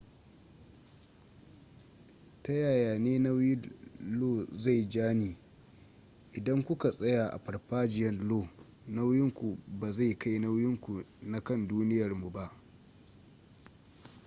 ta yaya ne nauyin lo zai ja ni idan ku ka tsaya a farfajiyan io nauyin ku ba zai kai nauyin ku na kan duniyarmu ba